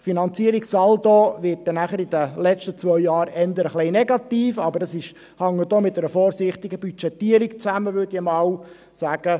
Der Finanzierungssaldo wird in den letzten zwei Jahren eher etwas negativ, doch dies hängt auch mit einer vorsichtigen Budgetierung zusammen, würde ich sagen.